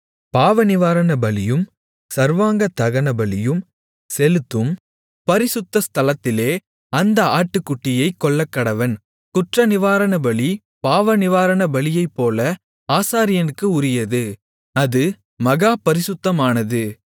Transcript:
பாவநிவாரணபலியும் சர்வாங்கதகனபலியும் செலுத்தும் பரிசுத்த ஸ்தலத்திலே அந்த ஆட்டுக்குட்டியைக் கொல்லக்கடவன் குற்றநிவாரணபலி பாவநிவாரணபலியைப்போல ஆசாரியனுக்கு உரியது அது மகா பரிசுத்தமானது